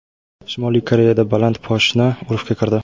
Shimoliy Koreyada baland poshna urfga kirdi.